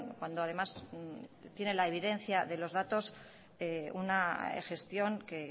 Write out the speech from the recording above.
cuando además tiene la evidencia de los datos una gestión que